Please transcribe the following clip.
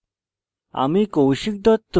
আমি কৌশিক দত্ত এই টিউটোরিয়ালটি অনুবাদ করেছি